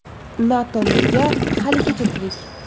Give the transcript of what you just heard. NATO nega haligacha tirik?